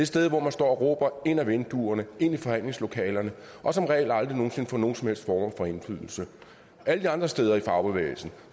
sted hvor man står og råber ind ad vinduerne ind i forhandlingslokalerne og som regel aldrig nogen sinde får nogen som helst form for indflydelse alle de andre steder i fagbevægelsen